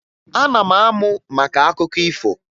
Ana m amụ maka akụkọ ifo